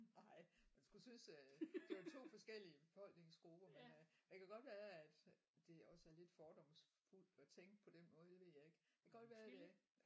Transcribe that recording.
Nej man skulle synes øh det var 2 forskellige befolkningsgrupper men øh det kan godt være at det også er lidt fordomsfuldt at tænke på den måde det ved jeg ikke det kan godt være at øh